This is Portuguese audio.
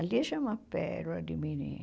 A Lígia é uma pérola de menina.